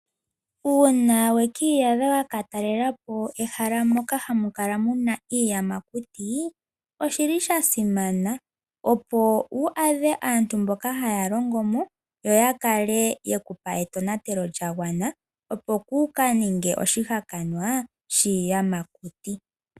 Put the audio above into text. Uuna weki iyadha waka taalelepo ehala moka hamu kala muna iiyamakuti, oshili sha simana opo wu adhe aantu mboka haya longomo yo ya kale yeku pa etonateko opo kuuka ninge oshihakanwa shiiyamakuti.